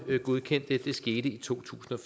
godkendt det det skete i to tusind og